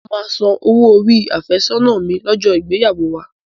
Mo máa san owó orí àfẹ́sọ́nà mi lọ́jọ́ ìgbéyàwó wa